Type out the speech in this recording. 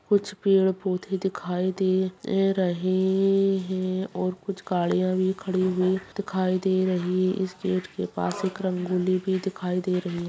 कुछ पेड़-पौधे दिखाई दे रहे है और कुछ गाड़िया भी कड़ी हुवी दिखाई दे रहे है इस गेट के पास एक रंगोली--